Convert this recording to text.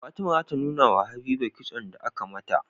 Fatima zata nunawa habiba kitson da aka mata